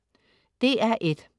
DR1: